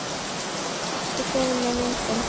Ekki fyrr en með myndum